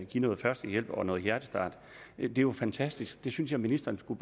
give førstehjælp og noget hjertestart det er jo fantastisk og det synes jeg ministeren skulle